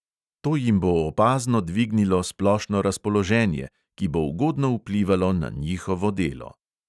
To jim bo opazno dvignilo splošno razpoloženje, ki bo ugodno vplivalo na njihovo delo.